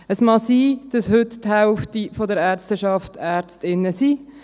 Es mag sein, dass heute die Hälfte der Ärzteschaft Ärztinnen sind.